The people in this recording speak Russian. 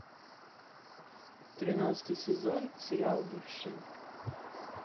тринадцатый сезон сериал бывшие